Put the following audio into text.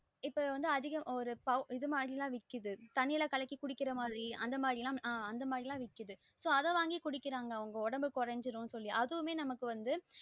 இப்ப அதிக ஒரு பௌடர் இது மாறி எல்லாம் விக்குது தண்ணீல கலக்கி குடிக்குற மாறி அந்த மாறி எல்லாம் விக்கிது so அத வாங்கி குடிக்குறாங்க அவங்க ஒடம்பு கொரஞ்சிடும் அதுவுமே நமக்கு வந்து